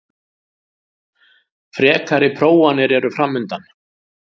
Frekari prófanir eru framundan